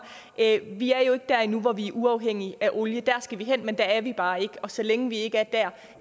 vi er jo ikke der endnu hvor vi er uafhængige af olie der skal vi hen men der er vi bare ikke og så længe vi ikke er